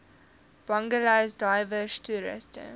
bungalows diverse toerusting